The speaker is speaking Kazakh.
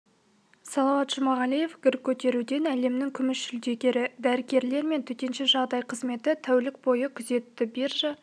салауат жұмағалиев гір көтеруден әлемнің күміс жүлдегері дәрігерлер мен төтенше жағдай қызметі тәулік бойы күзетті биржа